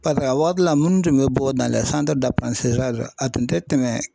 Paseke a waati la minnu tun bɛ bɔ a tun tɛ tɛmɛ.